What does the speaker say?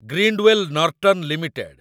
Grindwell Norton limited